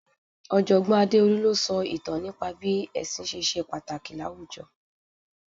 Ojogbon Adeolu ló sọ ìtàn nípa bí ẹsin ṣe ṣe pàtàkì láwùjọ.